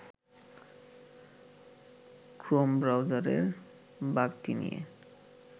Chrome ব্রাউজারের বাগটি নিয়ে